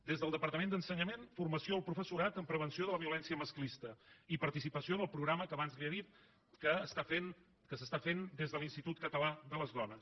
des del departament d’ensenyament formació al professorat amb prevenció de la violència masclista i participació en el programa que abans li he dit que s’està fent des de l’institut català de les dones